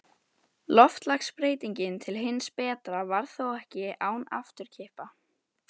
Loftslagsbreytingin til hins betra varð þó ekki án afturkippa.